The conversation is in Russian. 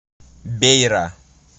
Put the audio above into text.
бейра